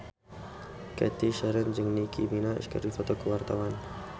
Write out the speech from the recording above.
Cathy Sharon jeung Nicky Minaj keur dipoto ku wartawan